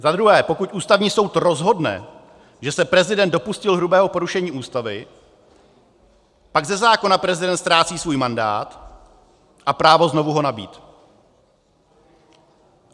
Za druhé, pokud Ústavní soud rozhodne, že se prezident dopustil hrubého porušení Ústavy, pak ze zákona prezident ztrácí svůj mandát a právo znovu ho nabýt.